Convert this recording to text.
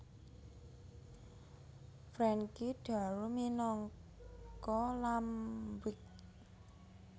Frankie Darro minangka Lampwick